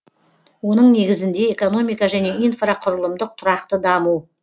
оның негізінде экономика және инфрақұрылымдық тұрақты даму